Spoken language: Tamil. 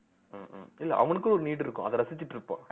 ஹம் ஹம் இல்லை அவனுக்குன்னு ஒரு need இருக்கும் அத ரசிச்சிட்டு இருப்போம்